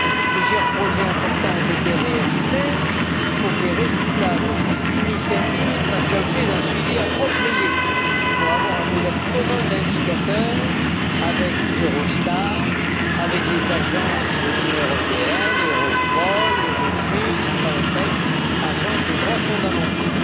Plusieurs projets importants ont été réalisés, il faut que les résultats de ces initiatives fassent l'objet d'un suivi approprié permettant d'élaborer un modèle commun d'indicateur avec Eurostat, avec les agences de l'Union européenne, Europol, Eurojust, Frontex, Agence des droits fondamentaux.